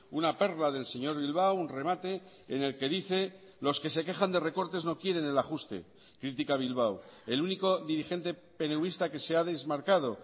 una perla del señor bilbao un remate en el que dice los que se quejan de recortes no quieren el ajuste critica bilbao el único dirigente peneuvista que se ha desmarcado